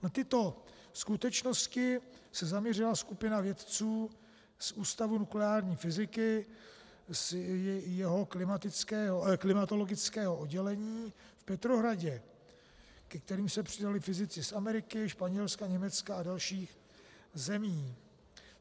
Na tyto skutečnosti se zaměřila skupina vědců z Ústavu nukleární fyziky z jeho klimatologického oddělení v Petrohradě, ke kterým se přidali fyzici z Ameriky, Španělska, Německa a dalších zemí.